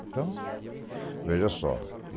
Então, veja só.